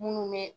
Munnu be